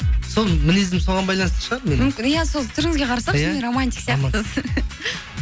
сол мінезім соған байланысты шығар иә сол түріңізге қарасақ шынымен романтик сияқтысыз